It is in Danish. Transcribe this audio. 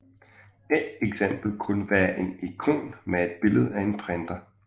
Et eksempel kunne være en ikon med et billede af en printer